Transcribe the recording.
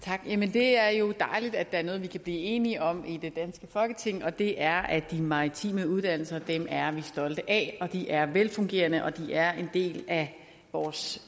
det er jo dejligt at der er noget vi kan blive enige om i det danske folketing og det er at de maritime uddannelser er vi stolte af de er velfungerende de er en del af vores